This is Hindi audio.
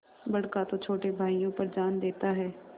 बड़का तो छोटे भाइयों पर जान देता हैं